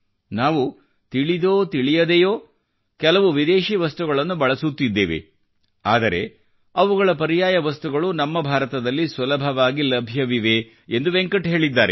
ನಾವು ತಿಳಿದೋತಿಳಿಯದೇನೋ ಕೆಲವು ವಿದೇಶಿ ವಸ್ತುಗಳನ್ನು ಬಳಸುತ್ತಿದ್ದೇವೆ ಆದರೆ ಅವುಗಳ ಪರ್ಯಾಯ ವಸ್ತುಗಳು ನಮ್ಮ ಭಾರತದಲ್ಲಿ ಸುಲಭವಾಗಿ ಲಭ್ಯವಿವೆ ಎಂದು ವೆಂಕಟ್ ಹೇಳಿದ್ದಾರೆ